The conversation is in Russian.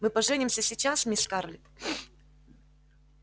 мы поженимся сейчас мисс скарлетт